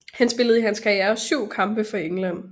Han spillede i hans karriere 7 kampe for England